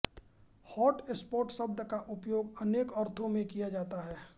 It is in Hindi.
हॉटस्पॉट शब्द का उपयोग अनेक अर्थों में किया जा